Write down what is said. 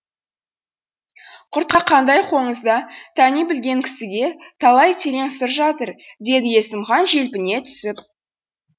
құрқақандай қоңызда тани білген кісіге талай терең сыр жатыр деді есімхан желпіне түсіп